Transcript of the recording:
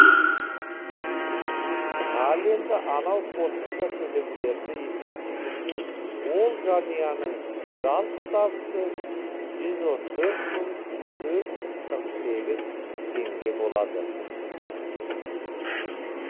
ал енді анау қосымша төлемдерді есептегенде ол жанұяның жалпы табысы жүз он төрт мың төрт жүз қырық сегіз теңге болады